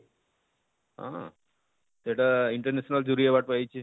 ଅଁ ସେଟା international ଜୁଡ଼ି award ପାଇଛେ,